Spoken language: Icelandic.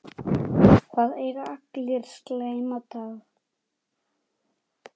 Það eiga allir slæma daga.